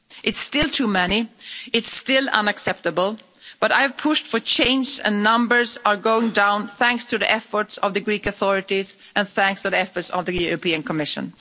It's still too many, it's still unacceptable, but I've pushed for change and numbers are going down thanks to the efforts of the Greek authorities and thanks to the efforts of the Commission.